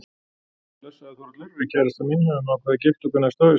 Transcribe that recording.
Blessaður Þórhallur, við kærastan mín höfum ákveðið að gifta okkur næsta haust.